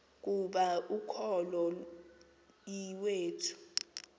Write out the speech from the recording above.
ukuba ukholo iwethu